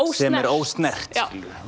sé ósnert